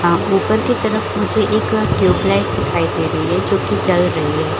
अ ऊपर की तरफ मझे एक अ ट्यूब लाइट दिखाई दे रही है जो की जल रही है ।